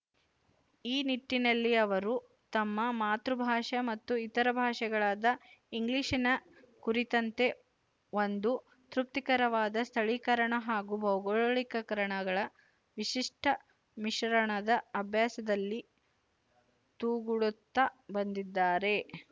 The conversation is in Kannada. ಈ ನಿಟ್ಟಿನಲ್ಲಿ ಅವರು ತಮ್ಮ ಮಾತೃಭಾಷೆ ಮತ್ತು ಇತರ ಭಾಷೆಯಾದ ಇಂಗ್ಲಿಶಿನ ಕುರಿತಂತೆ ಒಂದು ತೃಪ್ತಿಕರವಾದ ಸ್ಥಳೀಕರಣ ಹಾಗೂ ಭೌಗೋಳೀಕರಣಗಳ ವಿಶಿಷ್ಟ ಮಿಶ್ರಣದ ಅಭ್ಯಾಸದಲ್ಲಿ ತೊೂಡಗುತ್ತಾ ಬಂದಿದ್ದಾರೆ